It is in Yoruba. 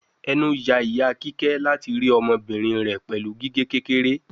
Enu ya ita kike lati ri ọmọbirin rẹ pẹlu gige kekere